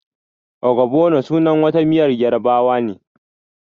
Ogbono is the name of a Yoruba soup.